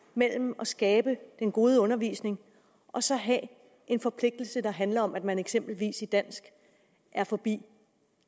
mellem at skabe den gode undervisning og så at have en forpligtelse der handler om at man eksempelvis i dansk er forbi